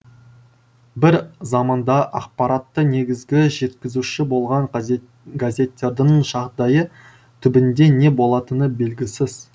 бір заманда ақпаратты негізгі жеткізуші болған газет газеттердің жағдайы түбінде не болатыны белгісіз